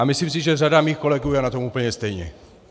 A myslím si, že řada mých kolegů je na tom úplně stejně.